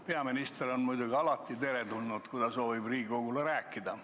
Peaminister on muidugi alati teretulnud, kui ta soovib Riigikogule midagi rääkida.